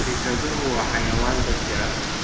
Bisaduhu waa xayawaan dad jecel.